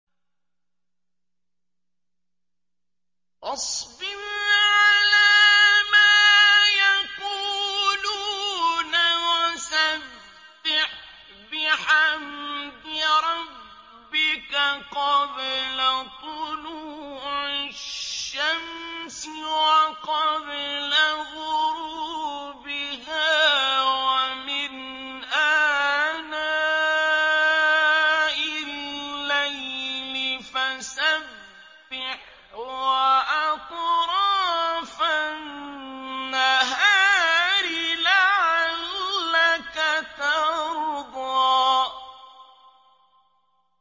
فَاصْبِرْ عَلَىٰ مَا يَقُولُونَ وَسَبِّحْ بِحَمْدِ رَبِّكَ قَبْلَ طُلُوعِ الشَّمْسِ وَقَبْلَ غُرُوبِهَا ۖ وَمِنْ آنَاءِ اللَّيْلِ فَسَبِّحْ وَأَطْرَافَ النَّهَارِ لَعَلَّكَ تَرْضَىٰ